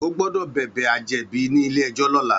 Ó gbòdò bèbè àjèbí ni ilé èjò lòlá